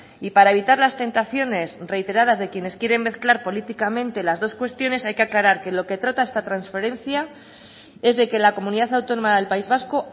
y para evitar las tentaciones reiteradas de quienes quieren mezclar políticamente las dos cuestiones hay que aclarar que lo que trata esta transferencia es de que la comunidad autónoma del país vasco